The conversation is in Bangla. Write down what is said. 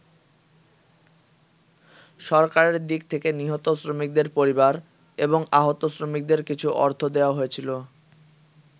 সরকারের দিক থেকে নিহত শ্রমিকদের পরিবার এবং আহত শ্রমিকদের কিছু অর্থ দেয়া হয়েছিল।